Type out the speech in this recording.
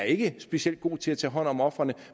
ikke er specielt god til at tage hånd om ofrene